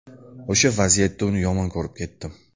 O‘sha vaziyatda uni yomon ko‘rib ketdim.